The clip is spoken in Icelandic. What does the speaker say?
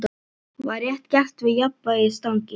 Var rétt gert við jafnvægisstangir?